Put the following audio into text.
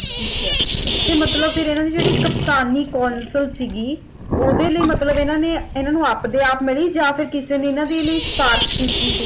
ਤੇ ਮਤਲਬ ਹਨ ਫੇਰ ਇਹਨਾਂ ਦੀ ਜਿਹੜੀ ਕਪਤਾਨੀ ਕਾਉਂਸਿਲ ਸੀਗੀ ਓਹਦੇ ਲਈ ਮਤਲਬ ਇਹਨਾਂ ਨੇ ਇਹਨਾਂ ਨੂੰ ਆਪ ਦੇ ਆਪ ਮਿਲੀ ਜਾ ਫਿਰ ਕਿਸੇ ਨੇ ਇਹਨਾਂ ਦੇ ਲਈ ਸਿਫਾਰਿਸ਼ ਕੀਤੀ ਸੀ